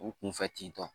U kunfɛ tentɔ